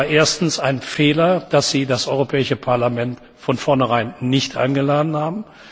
Es war erstens ein Fehler, dass Sie das Europäische Parlament von vornherein nicht eingeladen haben.